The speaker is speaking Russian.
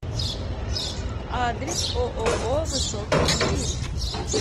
адрес ооо высокий стиль